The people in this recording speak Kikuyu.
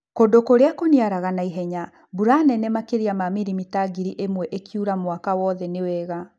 Kũndũ kũrĩa kũniaraga naihenya ,mburw nene makĩria ma milimita ngiri ĩmwe ĩkiura mwaka wothe nĩ wega.